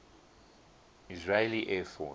israeli air force